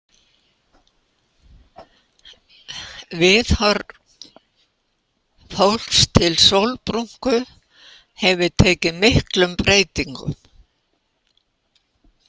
Viðhorf fólks til sólbrúnku hefur tekið miklum breytingum.